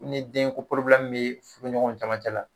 Ni den ko bi furu ɲɔgɔnw camancɛ la